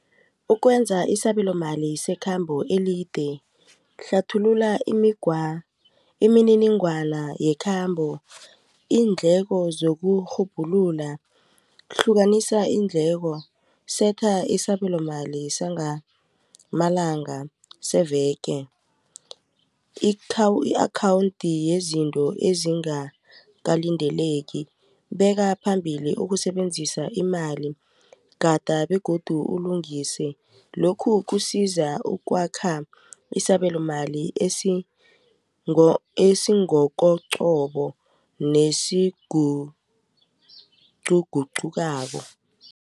Ukwenza isabelo mali sekhambo elide hlathulula imininingwana yekhambo iindleko zekurhubhulula, hlukanisa iindleko, setha isabelomali sengamalanga seveke. I-akhawunthi yezinto ezingakalindeleki beka phambili ukusebenzisa imali, gada begodu ulungise lokhu kusiza ukwakha isabelomali esingokoqobo nesiguqugukako.